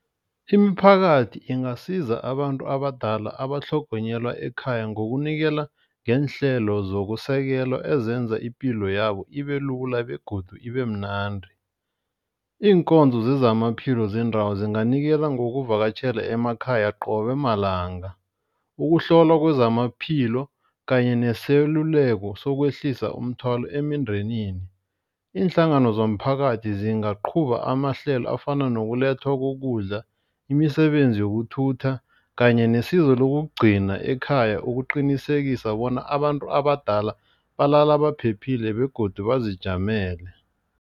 Iimphakathi ingasiza abantu abadala abatlhogonyelwa ekhaya ngokunikela ngeenhlelo zokusekela ezenza ipilo yabo ibe lula begodu ibe mnandi. Iinkonzo sezamaphilo zendawo zinganikela zokuvakatjhela emakhaya qobe malanga. Ukuhlolwa kwezamaphilo kanye neseluleko sokwehlisa umthwalo emindenini. Iinhlangano zomphakathi zingaqhuba amahlelo afana nokulethwa kokudla, imisebenzi yokuthutha kanye nesizo lokugcina ekhaya. Ukuqinisekisa bona abantu abadala balala baphephile begodu bazijamele.